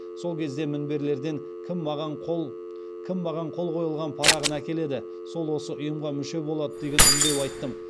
сол кезде мінберлерден кім маған қол қойылған парағын әкеледі сол осы ұйымға мүше болады деген үндеу айттым